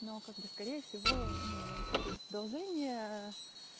но как бы скорее всего ну продолжение